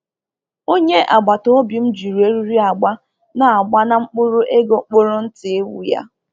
Onye agbata obi m ji eriri agba na agba na mkpụrụ ego kpụrụ ntị ewu ya.